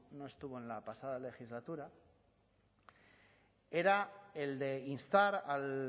no estuvo en la pasada legislatura era el de instar al